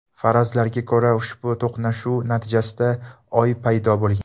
Farazlarga ko‘ra, ushbu to‘qnashuv natijasida Oy paydo bo‘lgan.